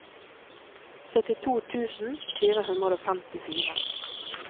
syttito tusen fire hundre og femtifire